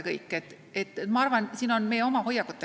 Küsimus on ka meie oma hoiakutes.